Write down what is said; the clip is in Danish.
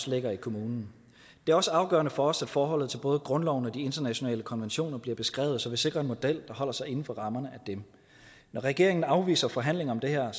ligger i kommunen det er også afgørende for os at forholdet til både grundloven og de internationale konventioner bliver beskrevet så vi sikrer en model der holder sig inden for rammerne af dem når regeringen afviser forhandlinger om det her